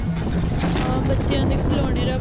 ਹਾਂ ਬੱਚਿਆਂ ਦੇ ਖਿਲਾਉਣੇ ਰੱਖ ਦੋ